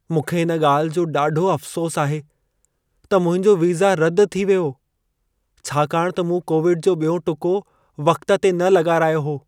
मूंखे इन ॻाल्हि जो ॾाढो अफ़सोसु आहे त मुंहिंजो वीज़ा रदि थी वियो, छाकाणि त मूं कोविड जो ॿियों टुको वक़्त न लॻारायो हो।